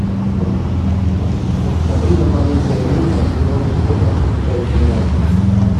сабрина маленькая ведьма сезон четырнадцать часть двенадцать